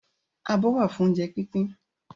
Abọ́ wà fún oúnjẹ pínpín